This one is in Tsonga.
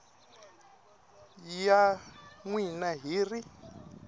ya n wina hi ri